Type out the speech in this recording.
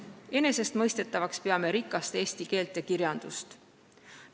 Peame enesestmõistetavaks, et meil on rikas eesti keel ja kirjandus.